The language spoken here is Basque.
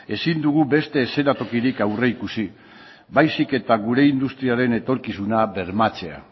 ezin dugu beste eszenatokirik aurreikusi baizik eta gure industriaren etorkizuna bermatzea